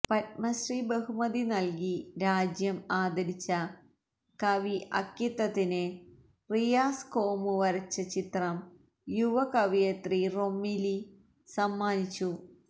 പത്മശ്രീ ബഹുമതി നല്കി രാജ്യം ആദരിച്ച കവി അക്കിത്തത്തിന് റിയാസ് കോമു വരച്ച ചിത്രം യുവ കവയത്രി റൊമില സമ്മാനിച്ചു